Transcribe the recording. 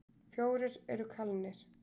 Fjórir eru kalnir